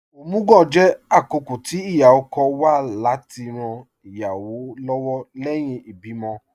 Omugwò jẹ̀ àkókọ̀ tì íyá-ọ̀kọ̀ wà láti ran ìyáwọ́ lọ́wọ̀ lẹ́hìn ìbìmọ̀.